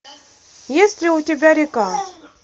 есть ли у тебя река